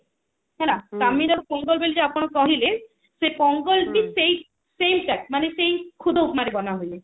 ହେଲା ପୋଙ୍ଗଲ ବୋଲି ଯୋଉ ଆପଣ କହିଲେ ସେ ପୋଙ୍ଗଲ ବି ସେଇ same ଟା ମାନେ ଏଇ ଖୁଦ ଉପମା ରେ ବନା ହୁଏ